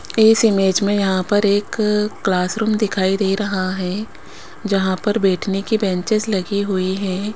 इस इमेज में यहां पर एक क्लासरूम दिखाई दे रहा है जहां पर बैठने की बेंचेज लगी हुई हैं।